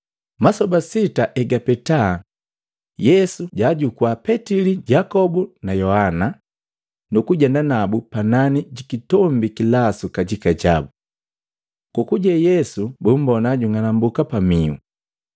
Masoba sita egapeta Yesu jaajukua Petili na Yakobu na Yohana nukujenda nabu panani jikitombi kilasu kajika jabu. Kokuje Yesu bumbona jang'anambuka pamihu.